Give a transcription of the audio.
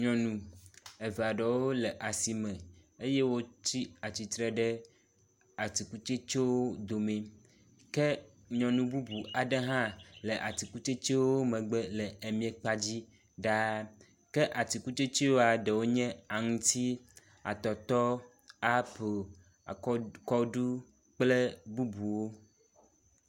Nyɔnu eve aɖewo le asime eye wotsi atsitre ɖe atikutsetsewo dome ke nyɔnu bubu aɖe hã le atikutsetsewo megbe le emiakpadzi ɖa ke atikutsetsea eɖewo nye; aŋuti, atɔtɔ, apel, akɔɖ, kɔɖu kple bubuwo.